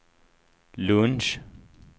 lunch